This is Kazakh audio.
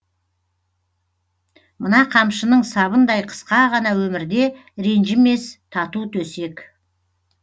мына қамшының сабындай қысқа ғана өмірде ренжімес тату төсек